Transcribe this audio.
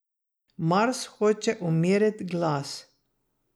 Mars hoče umirit glas.